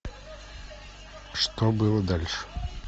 что было дальше